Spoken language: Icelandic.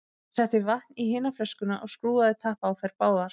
Hann setti vatn í hina flöskuna og skrúfaði tappa á þær báðar.